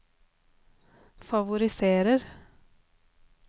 favoriserer